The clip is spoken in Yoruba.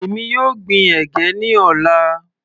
Èmi yóò gbin ẹ̀gẹ́ ní ọ̀la.